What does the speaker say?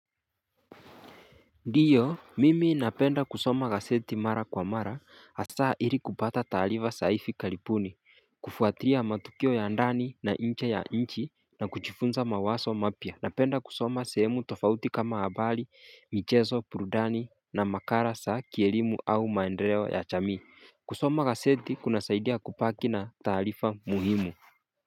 Ndiyo, mimi napenda kusoma gazeti mara kwa mara, Hasa ili kupata taarifa za hivi karibuni kufuatilia matukio ya ndani na njee ya nchi na kujifunza mawazo mapya. Napenda kusoma sehemu tofauti kama habari, michezo, burudani na makala za kielimu au maendeleo ya jamii. Kusoma gazeti kunasaidia kubaki na taarifa muhimu.